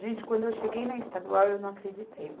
Gente, quando eu cheguei na Estadual, eu não acreditei.